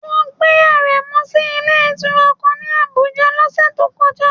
Wọ́n gbé Aremu sí ilé ìtura kan ní Abuja lọ́sẹ̀ tó kọjá